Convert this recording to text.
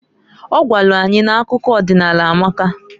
Ọ gwalụ anyị n'akụkọ ọdịnaala amaka.